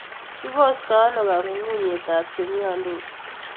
Kipostoo ano kang'unyng'unyetap chemyondos?